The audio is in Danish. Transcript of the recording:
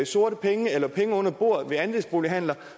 sorte penge eller penge under bordet ved andelsbolighandler